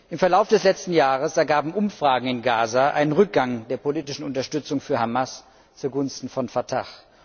Im Verlauf des letzten Jahres ergaben Umfragen in Gaza einen Rückgang der politischen Unterstützung für Hamas zugunsten von Fatah.